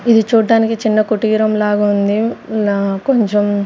ఇది చూడ్డానికి చిన్న కుటీరం లాగుంది ఇలా కొంచెం--